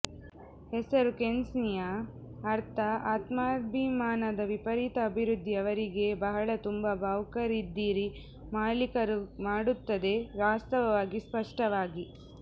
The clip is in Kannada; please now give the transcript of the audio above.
ಹೆಸರು ಕ್ಸೇನಿಯಾ ಅರ್ಥ ಆತ್ಮಾಭಿಮಾನದ ವಿಪರೀತ ಅಭಿವೃದ್ಧಿ ಅವರಿಗೆ ಬಹಳ ತುಂಬಾ ಭಾವುಕರಿದ್ದೀರಿ ಮಾಲೀಕರು ಮಾಡುತ್ತದೆ ವಾಸ್ತವವಾಗಿ ಸ್ಪಷ್ಟವಾಗಿ